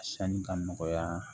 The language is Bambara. Sanni ka nɔgɔya